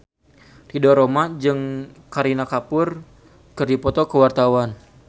Ridho Roma jeung Kareena Kapoor keur dipoto ku wartawan